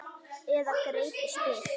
Eða greip í spil.